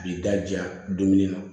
A b'i daja dumuni na